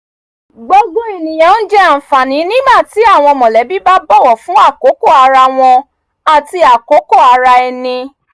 gbogbo ènìyàn ń jẹ àǹfààní nígbà tí àwọn mọ̀lẹ́bí bá bọ̀wọ̀ fún àkókò ara wọn àti àkókò ara ẹni